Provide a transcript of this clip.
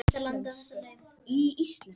Mynd sem spyrjandi sendi.